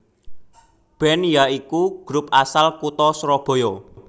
band ya iku grup asal kutha surabaya